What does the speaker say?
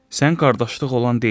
Sən qardaşlıq olan deyilsən.